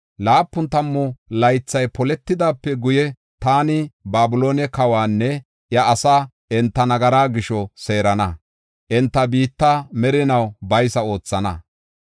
“Laapun tammu laythay poletidaape guye, taani Babiloone kawanne iya asaa enta nagara gisho seerana; enta biitta merinaw baysa oothana.